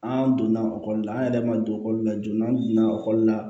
An donna ekɔli la an yɛrɛ ma don ekɔli la joona n'an donna ekɔli la